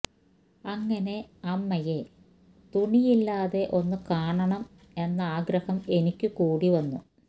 അങ്ങനെ അമ്മയെ തുണിയില്ലാതെ ഒന്ന് കാണണം എന്നാ ആഗ്രഹം എനിക്ക് കൂടി വന്നു